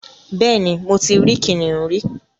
Bẹ́ẹ̀ ni, mo ti rí kìnnìún rí